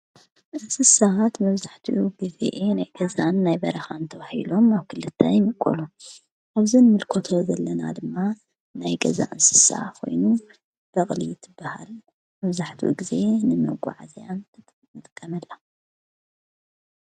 እስ ሰሃት መፍዛሕቱ ብፊኤ ናይ ገዛን ናይ በረኻእንተ ዉሒሎም ኣውክልታ ይምቁሉ ኅብዝን ምልኮቶ ዘለና ድማ ናይ ገዛን ስሳ ኾይኑ በቕሊት በሃል መፍዛሕቱ ጊዜ ንመጎዓዝያ ንጥቀመላ።